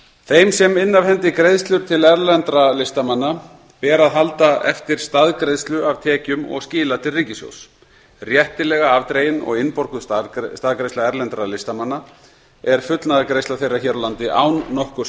þeim sem inna af hendi greiðslur til erlendra listamanna ber að halda eftir staðgreiðslu af tekjum og skila til ríkissjóðs réttilega afdregin og innborguð staðgreiðsla erlendra listamanna er fullnaðargreiðsla þeirra hér á landi án nokkurs